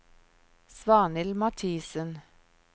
Svanhild Mathiesen